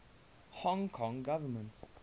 hong kong government